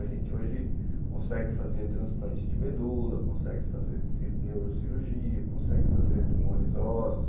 A gente hoje consegue fazer transplante de medula, consegue fazer neurocirurgia, consegue fazer tumores ósseos.